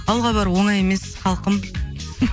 ауылға бару оңай емес салқын